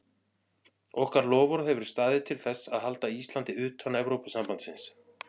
Okkar loforð hefur staðið til þess að halda Íslandi utan Evrópusambandsins.